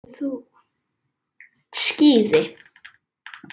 Skíði